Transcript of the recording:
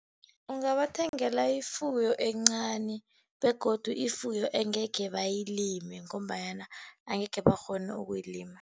Ungabathengela ifuyo encani, begodu ifuyo engekhe bayilime ngombanyana angekhe bakghone ukuyilima.